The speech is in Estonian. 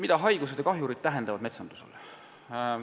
Mida haigused ja kahjurid metsandusele tähendavad?